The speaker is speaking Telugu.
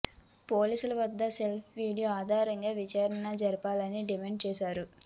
పోలీసుల వద్ద ఉన్న సెల్ఫీ వీడియో ఆధారంగా విచారణ జరపాలని డిమాండ్ చేశారు